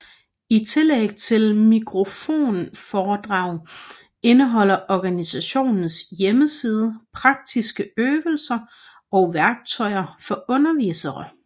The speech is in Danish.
I tillæg til mikroforedrag indeholder organisationens hjemmeside praktiske øvelser og værktøjer for undervisere